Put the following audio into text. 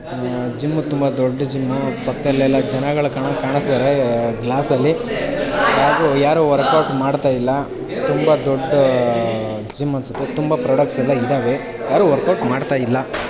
ಅಹ್ gym ತುಂಬ ದೊಡ್ಡ್ gym ಪಕ್ಕದಲ್ಲೆಲ್ಲ ಜನಗಳು ಕಾಣಂಗ್ ಕಾಣುಸ್ತಿದಾರೆ ಗ್ಲಾಸ್ ಅಲ್ಲಿ ಹಾಗೂ ಯಾರು ವರ್ಕ್ ಔಟ್ ಮಾಡ್ತಾಇಲ್ಲಾ ತುಂಬ ದೊಡ್ಡ್ ಅಹ್ ಜಿಮ್ ಅನ್ಸುತ್ತೆ ತುಂಬ ಪ್ರಾಡಕ್ಟ್ಸ್ ಎಲ್ಲ ಇದಾವೆ. ಯಾರು ವರ್ಕ್ ಔಟ್ ಮಾಡ್ತಾ ಇಲ್ಲಾ.